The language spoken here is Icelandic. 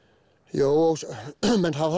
jú menn hafa